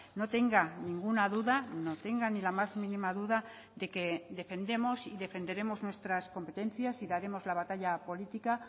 no tenga ninguna duda no tenga ni la más mínima duda de que defendemos y defenderemos nuestras competencias y daremos la batalla política